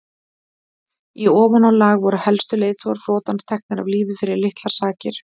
í ofanálag voru helstu leiðtogar flotans teknir af lífi fyrir litlar sakir